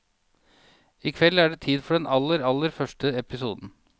I kveld er det tid for den aller, aller første episoden.